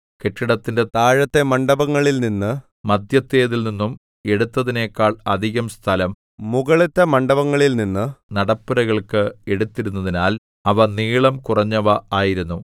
കെട്ടിടത്തിന്റെ താഴത്തെ മണ്ഡപങ്ങളിൽനിന്നും മദ്ധ്യത്തേതിൽനിന്നും എടുത്തതിനെക്കാൾ അധികം സ്ഥലം മുകളിലത്തെ മണ്ഡപങ്ങളിൽനിന്ന് നടപ്പുരകൾക്ക് എടുത്തിരുന്നതിനാൽ അവ നീളം കുറഞ്ഞവ ആയിരുന്നു